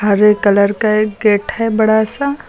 हरे colour का एक gate है बड़ा सा।